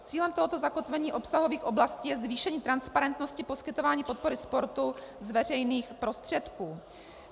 Cílem tohoto zakotvení obsahových oblastí je zvýšení transparentnosti poskytování podpory sportu z veřejných prostředků.